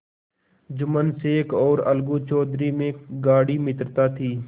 जुम्मन शेख और अलगू चौधरी में गाढ़ी मित्रता थी